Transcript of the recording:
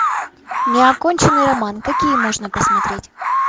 неоконченный роман какие можно посмотреть